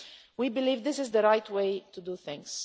We believe this is the right way to do things.